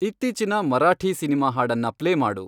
ಇತ್ತೀಚಿನ ಮರಾಠೀ ಸಿನಿಮಾ ಹಾಡನ್ನ ಪ್ಲೇ ಮಾಡು